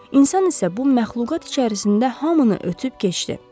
İnsan isə bu məxluqat içərisində hamını ötüb keçdi.